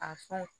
A fɔ